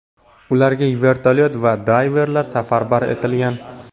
Ularga vertolyot va dayverlar safarbar etilgan.